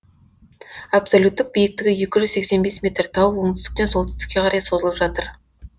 абсолюттік биіктігі екі жүз сексен бес метр тау оңтүстіктен солтүстікке қарай созылып жатыр